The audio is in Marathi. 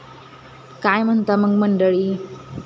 काय म्हणता मग मंडळी?